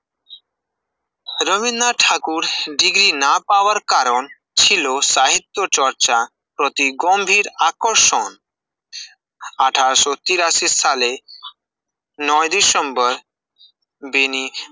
Rabindranath Thakur degree না পাওয়ার কারণ ছিল সাহিত্য চর্চা প্রতি গম্ভীর আকর্ষণ, আঠাশ ও তিরাশি সালে ডিসেম্বর বেনী